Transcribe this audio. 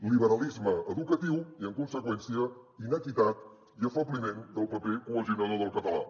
liberalisme educatiu i en conseqüència inequitat i afebliment del paper cohesionador del català